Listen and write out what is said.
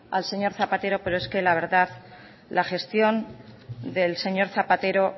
al señor zapatero pero es que la verdad la gestión del señor zapatero